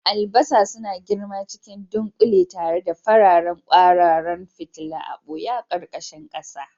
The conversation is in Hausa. Albasa suna girma cikin dunƙule tare da fararen kwararan fitila a ɓoye a ƙarƙashin ƙasa.